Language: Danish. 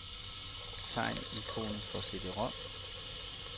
Tegn ikonet for cd-rom.